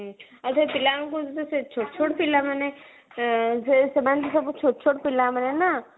ଆଉ ସେଇ ପିଲା ଗୁଡା ଛୋଟ ଛୋଟ ପିଲା ମାନେ ତ ସେମାନେ ତ ସବୁ ଛୋଟ ଛୋଟ ପିଲା ମାନେ ନା